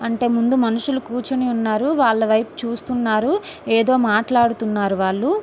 అంటే ముందు మనుషులు కూచొని ఉన్నారు వాళ్ళ వయపు చూస్తున్నారు ఏదో మాట్లాడుతున్నారు వాళ్ళు.